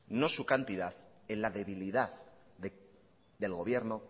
no su cantidad en la debilidad del gobierno